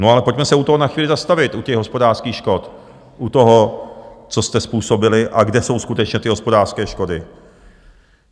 No ale pojďme se u toho na chvíli zastavit, u těch hospodářských škod, u toho, co jste způsobili a kde jsou skutečně ty hospodářské škody.